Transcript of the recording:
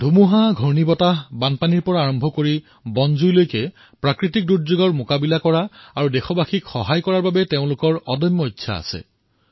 ধুমুহা বানপানীৰ পৰা আৰম্ভ কৰি জংগলৰ জুইৰ দৰে প্ৰাকৃতিক বিপদ পৰ্যন্ত সমাধান কৰা আৰু দেশপবাসীক সহায় কৰাৰ তেওঁলোকৰ এক অদম্য উৎসাহ আছে